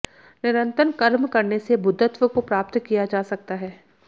निरंतर कर्म करने से बुद्धत्व को प्राप्त किया जा सकता है